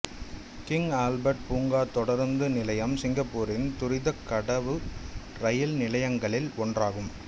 king Albert பூங்கா தொடருந்து நிலையம் சிங்கப்பூரின் துரிதக் கடவு ரயில் நிலையங்களில் ஒன்றாகும்